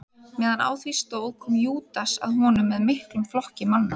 Meðan á því stóð kom Júdas að honum með miklum flokki manna.